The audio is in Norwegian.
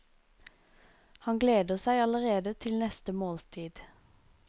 Han gleder seg allerede til neste måltid.